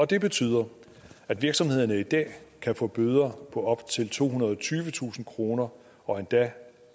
det betyder at virksomhederne i dag kan få bøder på op til tohundrede og tyvetusind kroner og endda